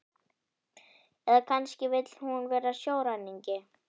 Eða kannski vill hún vera sjóræningi?